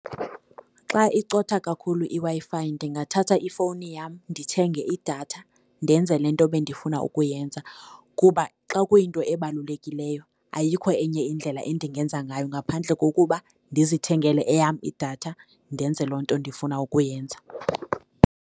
Xa icotha kakhulu iWi-Fi ndingathatha ifowuni yam ndithenge idatha ndenze le nto bendifuna ukuyenza kuba xa kuyinto ebalulekileyo ayikho enye indlela endingenza ngayo ngaphandle kokuba ndizithengele eyam idatha ndenze loo nto ndifuna ukuyenza.